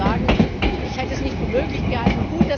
Ich muss Ihnen sagen, ich hätte es nicht für möglich gehalten.